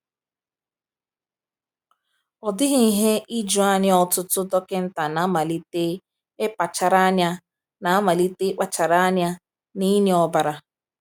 "Ọ dịghị ihe ijuanya, ọtụtụ dọkịta na-amalite ịkpachara anya na-amalite ịkpachara anya n’ịnye ọbara."